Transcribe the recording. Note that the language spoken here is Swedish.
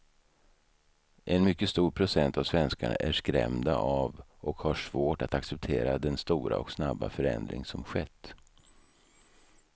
En mycket stor procent av svenskarna är skrämda av och har svårt att acceptera den stora och snabba förändring som skett.